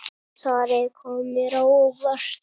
Svarið kom mér á óvart.